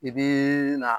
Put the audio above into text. I bɛ na